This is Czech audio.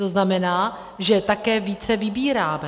To znamená, že také více vybíráme.